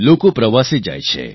લોકો પ્રવાસે જાય છે